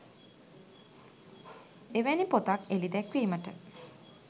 එවැනි පොතක් එළි දැක්වීමට